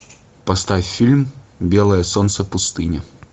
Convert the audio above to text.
поставь фильм белое солнце пустыни